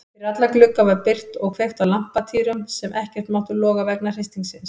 Fyrir alla glugga var byrgt og kveikt á lampatýrum sem ekkert máttu loga vegna hristingsins.